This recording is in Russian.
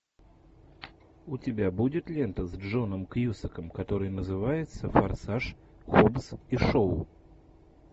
у тебя будет лента с джоном кьюсаком которая называется форсаж хоббс и шоу